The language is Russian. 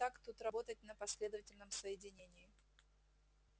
вот как тут работать на последовательном соединении